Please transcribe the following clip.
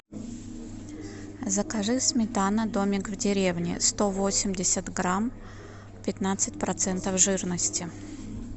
закажи сметана домик в деревне сто восемьдесят грамм пятнадцать процентов жирности